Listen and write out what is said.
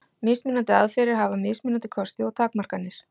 Mismunandi aðferðir hafa mismunandi kosti og takmarkanir.